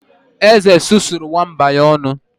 Eze susuo nwamba ya ọnụ